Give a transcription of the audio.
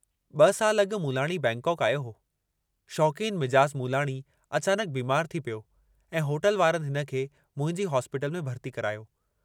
ब साल अगु मूलाणी बैंकाक आयो हो, शौंकीन मिजाज़ मूलाणी, अचानक बीमारु थी पियो ऐं होटल वारनि हिनखे मुंहिंजी हॉस्पीटल में भर्ती करायो।